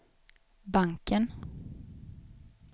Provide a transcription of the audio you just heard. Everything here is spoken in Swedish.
banken